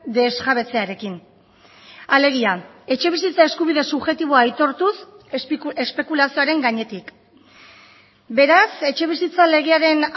desjabetzearekin alegia etxebizitza eskubide subjektiboa aitortuz espekulazioaren gainetik beraz etxebizitza legearen